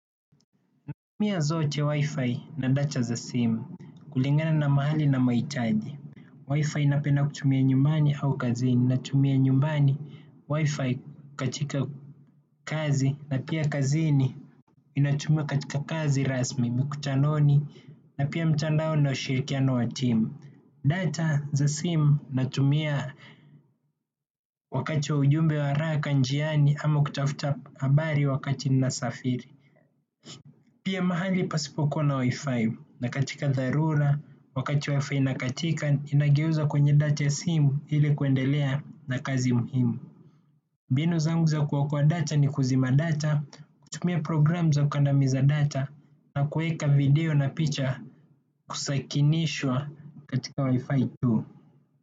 Natumia zote, WiFi na data za simu kulingana na mahali na mahitaji. Wifi napenda kutumia nyumbani au kazini. Natumia nyumbani WiFi katika kazi na pia kazini inatumika katika kazi rasmi, mkutanoni na pia mtandao na ushirikiano wa timu. Data za simu natumia wakati wa ujumbe wa haraka njiani ama kutafuta habari wakati ninasafiri. Pia mahali pasipo kuwa na WiFi na katika dharura wakati WiFi haipo, ninageuza data ya simu ili kuendelea na kazi muhimu. Mbinu zangu za kuokoa data ni kuzima data, kutumia programu za kukandamiza data na kuweka video na picha kusakinishwa katika Wi-Fi tu.